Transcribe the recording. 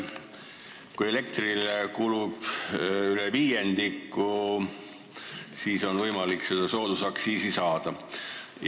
Kui elektrile kulub üle viiendiku lisandväärtusest, siis on võimalik seda soodusaktsiisi saada.